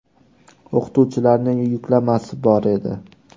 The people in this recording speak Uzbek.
O‘qituvchilarni yuklamasi bor edi.